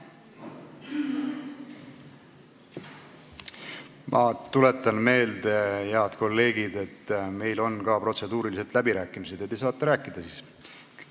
Ma tuletan meelde, head kolleegid, et meil on protseduuriliselt ka läbirääkimised ette nähtud ja te saate siis rääkida.